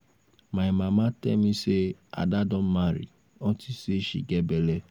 my mama tell me say ada don marry unto say she get bele